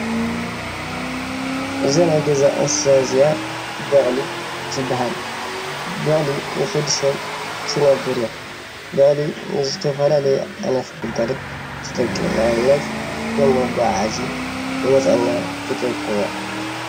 እዛ ናይ ገዛ እንስሳ እዚኣ በቅሊ ትባሃል፡፡ በቅሊ ምስ ወዲ ሰብ እትነብር እያ፡፡ በቅሊ ንዝተፈላለዩ ዓይነት ግልጋሎት ትጠቅም እያ፡፡ ንኣብነት ከም መጓዓዓዚ ንመፅዓኛ ትጠቅም እያ፡፡